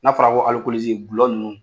N'a fɔra ko dulɔ ninnu.